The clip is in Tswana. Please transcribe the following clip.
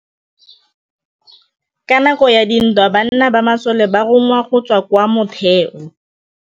Ka nakô ya dintwa banna ba masole ba rongwa go tswa kwa mothêô.